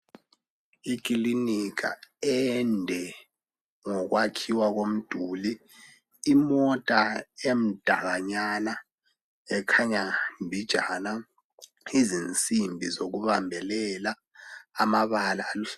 Ikilinika ende ngokwakhiwa kwomduli imota emdalanyana ekhanya mbijana izinsimbi zokubambelela amabala aluhlaza.